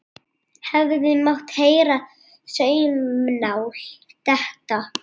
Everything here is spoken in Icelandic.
Hefði mátt heyra saumnál detta.